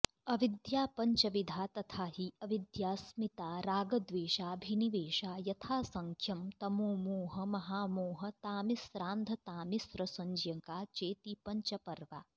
अविद्या पञ्चविधा तथाहि अविद्याऽस्मितारागद्वेषाभिनिवेशा यथासंख्यं तमोमोहमहामोहतामिस्रान्धतामिस्रसंज्ञका चेति पञ्चपर्वा